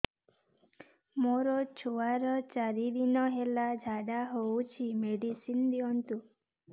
ମୋର ଛୁଆର ଚାରି ଦିନ ହେଲା ଝାଡା ହଉଚି ମେଡିସିନ ଦିଅନ୍ତୁ